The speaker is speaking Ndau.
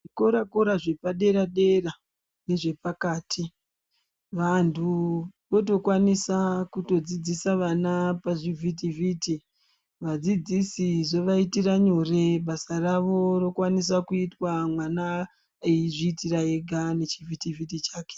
Zvikora kora zvepa dera dera ne zvepakati vantu voto kwanisa kuto dzidzisa vana pa zvivhiti vhiti vadzidzisi zvova itira nyore basa ravo rokwanisa kuitwa mwana eyi zviitira ega ne chi vhiti vhiti chake.